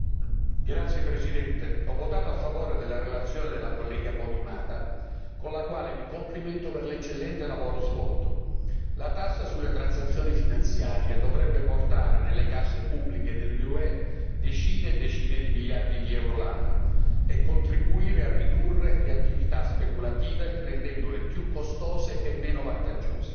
Signor Presidente, onorevoli colleghi, ho votato a favore della relazione dell'onorevole Podimata, con la quale mi complimento per l'eccellente lavoro svolto. La tassa sulle transazioni finanziarie dovrebbe portare nelle casse pubbliche dell'UE diverse decine di miliardi di euro l'anno e contribuire a ridurre le attività speculative rendendole più costose e meno vantaggiose.